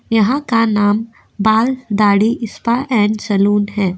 यहाँ का नाम Baal Dadhi spa and salon है।